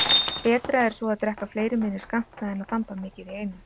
Betra er svo að drekka fleiri minni skammta en að þamba mikið í einu.